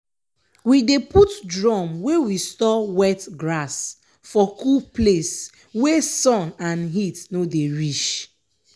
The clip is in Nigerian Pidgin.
we dey put drum wey we store wet grass for cool place wey sun and heat no dey reach.